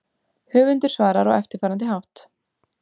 Höfundur svarar á eftirfarandi hátt